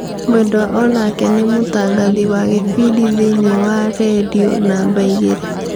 Mwendwa onake nĩmũtangathĩ wa gĩbindi thĩiniĩ wa rĩndiũnumber igĩrĩ.